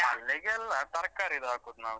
ಮಲ್ಲಿಗೆ ಅಲ್ಲ ತರ್ಕಾರಿದ್ದು ಹಾಕುದು ನಾವು.